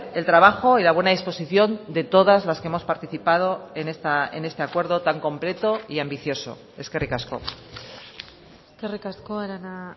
el trabajo y la buena disposición de todas las que hemos participado en este acuerdo tan completo y ambicioso eskerrik asko eskerrik asko arana